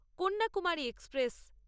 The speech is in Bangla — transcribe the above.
কন্যাকুমারী এক্সপ্রেস